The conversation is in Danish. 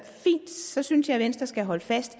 så synes jeg at venstre skal holde fast